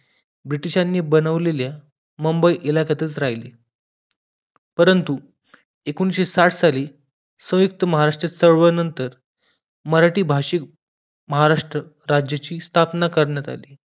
ब्रिटिशांनी बनावलेल्या मुंबई इलाक्यातच राहिली परंतु एकोणीसशे साठ साली संयुक्त महाराष्ट्र चळवळ नंतर मराठी भाषी महाराष्ट्र राज्याची स्थापना करण्यात आली